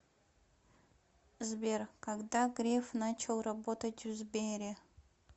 сбер когда греф начал работать в сбере